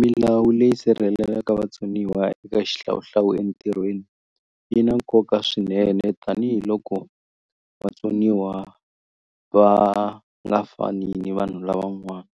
Milawu leyi sirhelelaka vatsoniwa eka xihlawuhlawu entirhweni yi na nkoka swinene tanihiloko vatsoniwa va nga fani ni vanhu lavan'wani